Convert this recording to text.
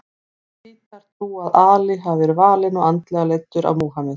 Sjítar trúa að Ali hafi verið valinn og andlega leiddur af Múhameð.